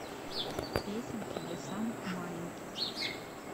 песенки для самых маленьких